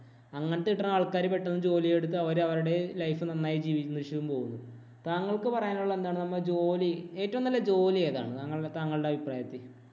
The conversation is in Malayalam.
അങ്ങനത്തെ കിട്ടുന്ന ആള്‍ക്കാര് പെട്ടന്ന് ജോലിയെടുത്ത് അവര് അവരുടെ life നന്നായി ജീവിക്കുന്ന പോവുന്നു. താങ്കള്‍ക്ക് പറയാനുള്ളത് എന്താണ്? നമ്മൾ ജോലി, ഏറ്റവും നല്ല ജോലി ഏതാണ്? താങ്കളുടെ അഭിപ്രായത്തില്‍.